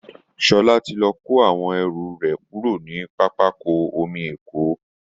Sola ti lọ kó àwọn ẹrù rẹ̀ kúrò ní pápákọ̀ omi Èkó